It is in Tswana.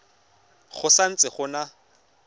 go sa ntse go na